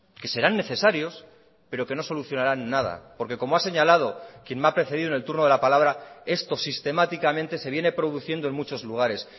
que serán necesarios pero que no solucionaran nada porque como ha señalado quien me ha precedido en el turno de la palabra esto sistemáticamente se viene produciendo en muchos lugares